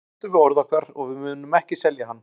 Við stöndum við orð okkar og við munum ekki selja hann.